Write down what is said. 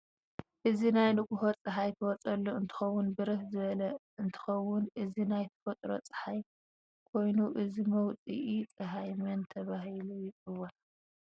እዚ ናይ ንጎሆ ፀሃይ ትወፀሉ አንትትኮን በርህ ዝቦል እንትከውን እዚ ናይ ተፈጥሮ ፀሓይ ኾይኑ እዚ መውፂ ፀሃይ መን ተበሠህሉ የፂዋዕ?